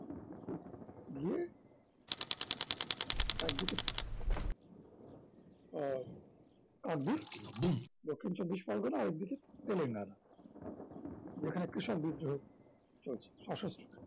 গিয়ে একদিকে আহ কাকদ্বীপ, দক্ষিণ চব্বিশ পরগণা আরেকদিকে তেলেঙ্গানা যেখানে কৃষক বিদ্রোহ চলছে সশস্র